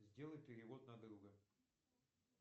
сделай перевод на друга